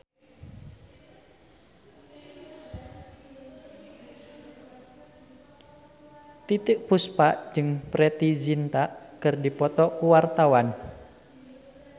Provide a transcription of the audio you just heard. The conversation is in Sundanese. Titiek Puspa jeung Preity Zinta keur dipoto ku wartawan